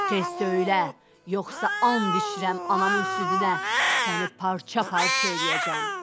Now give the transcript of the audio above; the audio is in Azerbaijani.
Tez söylə, yoxsa and içirəm anamın südünə, səni parça-parça eləyəcəm.